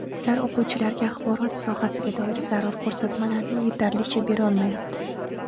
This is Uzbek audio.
Ular o‘quvchilarga axborot sohasiga doir zarur ko‘rsatmalarni yetarlicha berolmayapti.